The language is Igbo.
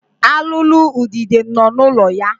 Alụụlu udide nọ n'ụlọ ya.